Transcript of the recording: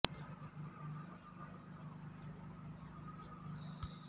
ಎಲ್ಲಾ ವಿಷಯಕ್ಕೆ ಗಂಡನ ಡಿಪೆಂಡೆಂಟ್ ಆಗುತ್ತಾ ಹೋದರೆ ಅವರಿಗೂ ಉಸಿರು ಕಟ್ಟಿದ ಅನುಭವವಾಗುವುದು